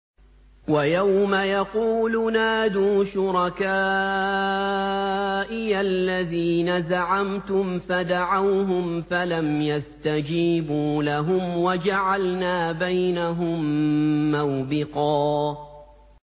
وَيَوْمَ يَقُولُ نَادُوا شُرَكَائِيَ الَّذِينَ زَعَمْتُمْ فَدَعَوْهُمْ فَلَمْ يَسْتَجِيبُوا لَهُمْ وَجَعَلْنَا بَيْنَهُم مَّوْبِقًا